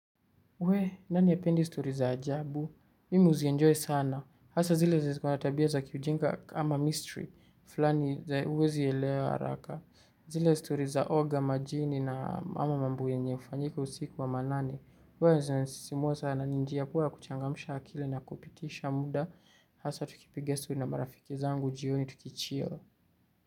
Wee! Nani hapendi stori za ajabu? Mimi huzienjoy sana. Hasa zile zenye ziko na tabia za kiujinga kama mystery fulani zenye huwezi elewa haraka. Zile stori za oga majini na ama mambo enye hufanyika usiku wa manane. Bora zinanisisimua sana ni njia poa ya kuchangamsha akili na kupitisha muda. Hasa tukipiga zuu na marafiki zangu jioni tukichil.